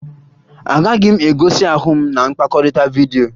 Agaghị m egosi ahụ m na mkpakọrịta vidyo